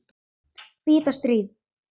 hvíta stríð.